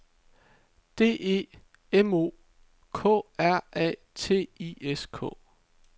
D E M O K R A T I S K